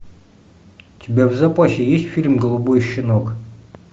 у тебя в запасе есть фильм голубой щенок